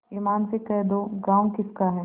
ईमान से कह दो गॉँव किसका है